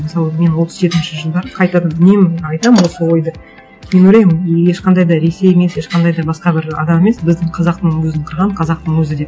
мысалы мен отыз жетінші жылдары қайтадан үнемі айтамын осы ойды мен ойлаймын ешқандай да ресей емес ешқандай да басқа бір адам емес біздің қазақтың өзін қырған қазақтың өзі деп